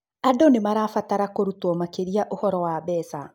Andũ nĩ marabatara kũrutwo makĩria ũhoro wa mbeca.